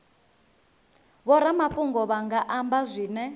vhoramafhungo vha nga amba zwine